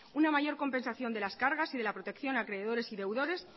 una mayor compensación de las cargas y de la protección de acreedores y deudores